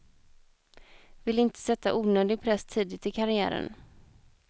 Vill inte sätta onödig press tidigt i karriären.